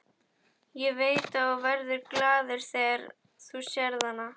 Ég veit að þú verður glaður þegar þú sérð hana.